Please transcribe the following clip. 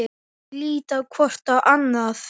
Þau líta hvort á annað.